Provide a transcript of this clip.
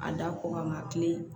A da kɔ kan kile